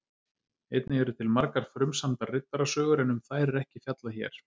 Einnig eru til margar frumsamdar riddarasögur en um þær er ekki fjallað hér.